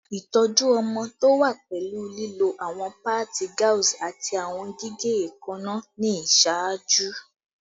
Itọju ọmọ to wa pẹlu lilo awọn paadi gauze ati awọn gige eekanna ni iṣaaju